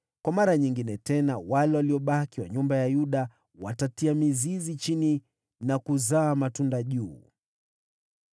Mara nyingine tena mabaki ya nyumba ya Yuda wataeneza mizizi chini na kuzaa matunda juu.